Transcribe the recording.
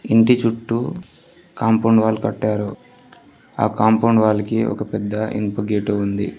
ఇంటి చుట్టూ compound wall కట్టారు ఆ కాంపౌండ్ వాల్కి ఒక పెద్ద ఇనుప గేటు ఉంది.